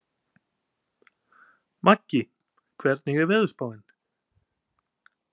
Maggi, hvernig er veðurspáin?